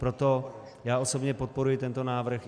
Proto já osobně podporuji tento návrh.